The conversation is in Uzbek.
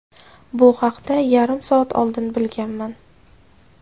Bu haqda yarim soat oldin bilganman.